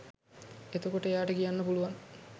එතකොට එයාට කියන්න පුලුවන්